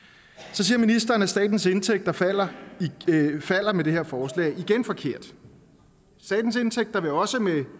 så siger ministeren at statens indtægter falder falder med det her forslag det er igen forkert statens indtægter vil også med